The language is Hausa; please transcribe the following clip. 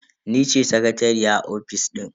Ni ce sakatariya a ofis din.